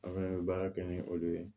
An bɛ baara kɛ ni olu ye